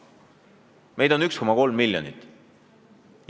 Meid on 1,3 miljonit.